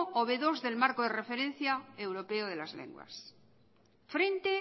o be dos del marco de referencia europea de las lenguas frente